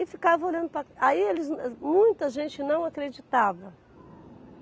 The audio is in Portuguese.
E ficava olhando para. Aí eles, muita gente não acreditava.